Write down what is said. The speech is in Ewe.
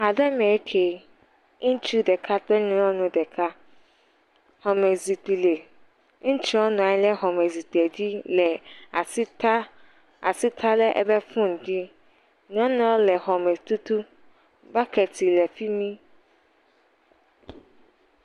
…aɖe me ŋkee, ŋutsu ɖeka kple nyɔnu ɖeka, xɔmezikpui le, ŋutsua nɔ anyi xɔmɔzikpuia dzi le asi ta asi ta ɖe eƒe fon dzi, nyɔnuɔ le xɔme tutum, bakɛt le fi mi.